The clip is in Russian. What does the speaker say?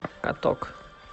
каток